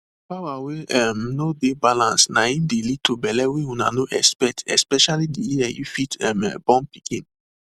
power wey um no dey balance na im de lead to belle wey una no expect especially the year you fit um born pikin